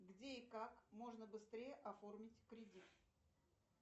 где и как можно быстрее оформить кредит